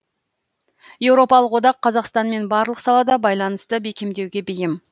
еуропалық одақ қазақстанмен барлық салада байланысты бекемдеуге бейім